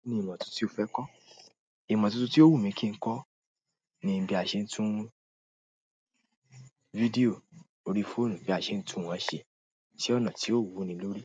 Kí ni ìmọ̀ tuntun tí o fẹ́ kọ́? Ìmọ̀ tuntun tí ó wù mí kí n kọ́ ni bí a ṣe ń tún fídíò orí fóònù bí a ṣe ń tún wọ́n ṣe, si ọ̀nà tí ó wuni lórí,